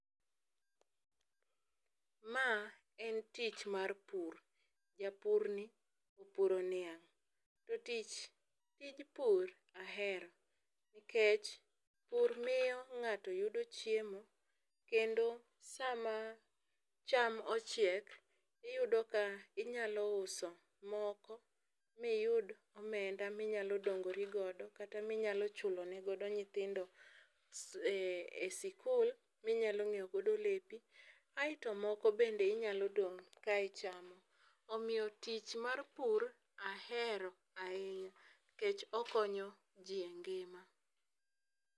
Ma en tich mar pur. Japur ni opuro niang' . To tich tij pur ahero nilkech pur miyo ng'ato yudo chiemo, kendo sama cham ochiek iyudo ka inyalo uso moko miyud omenda minyalo dongori godo kata minyalo chulo ne godo nyithindo e e sikul, minyalo nyiewo godo lepi aeto moko bende inyalo dong' ka ichamo. Omiyo tich mar pur ahero ahinya nikech okonyo jii e ngima.